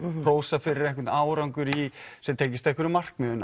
hrósa fyrir einvern árangur sem tengist einhverjum markmiðum